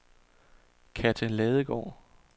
Kathe Ladegaard